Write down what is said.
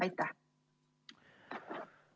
Aitäh!